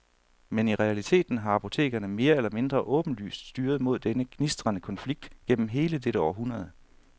Men i realiteten har apotekerne mere eller mindre åbenlyst styret mod denne gnistrende konflikt gennem hele dette århundrede.